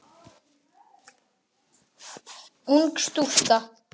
Ung stúlka.